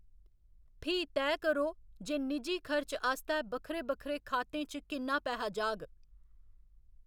फ्ही तैऽ करो जे निजी खर्च आस्तै बक्खरे बक्खरे खातें च किन्ना पैहा जाग।